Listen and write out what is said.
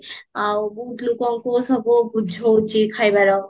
ଆଉ ବହୁତ ଲୋକଙ୍କୁ ସବୁ ବୁଝଉଚି ଖାଇବାର